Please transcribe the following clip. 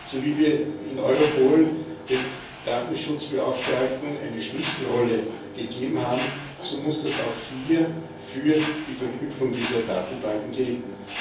So wie wir in Europol den Datenschutzbeauftragten eine Schlüsselrolle gegeben haben, so muss das auch hier für die Verknüpfung dieser Datenbanken gelten.